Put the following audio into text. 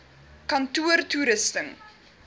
kantoortoerusting